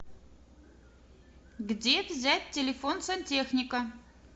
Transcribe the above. где взять телефон сантехника